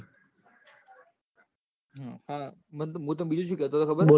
હ અ મુત ત બીજું શું કેતો ખબર હ